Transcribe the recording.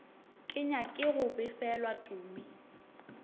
ke nyake go befelwa tumi